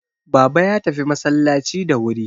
Baba ya tafi masallaci da wuri